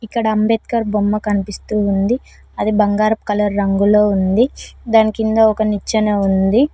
ఇక్కడ అంబేద్కర్ బొమ్మ కనిపిస్తుంది అది బంగారం కలర్ రంగులో ఉంది దాని కింద ఒక నిచ్చెన ఉంది.